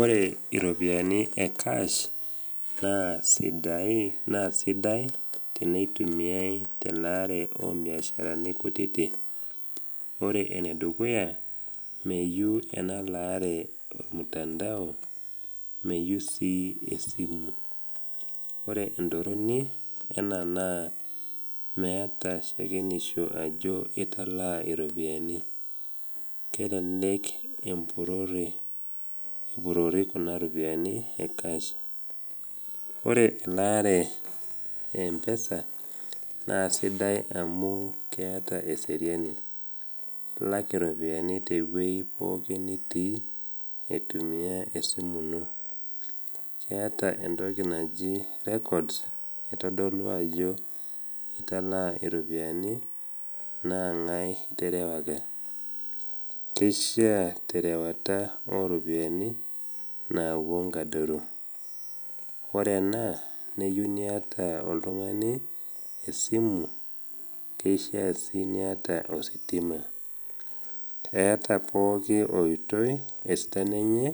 Ore iropiani ekaash naa sidai teneitumiai telaare o mbiasharani kutiti. Ore enedukuya, meyeu ena laare olmutandao, meyeu sii esimu. Ore entorroni ena naa meata shakenisho ajo italaa iropiani, kelelek epurori kuna ropiani ekash. Ore elaare e mpesa naa sidai amu keata eseriani, ilak iropiani tewei pookin nitii aitumia esimu ino, keata entoki naji records naitodolu ajo italaa iropiani naa ng’ai iterewaka, keishaa terewata o ropiani nawuo nkadoro. Ore ena, neyeu niata oltung’ani esimu, keishaa sii niata ositima. Eata pooki oitoi esidano enye